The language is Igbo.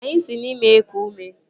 Anyị si n'imi eku ume